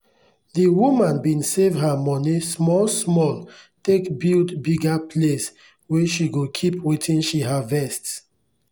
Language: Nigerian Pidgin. the woman bin save her moni small small take build bigger place wey she go keep wetin she harvest.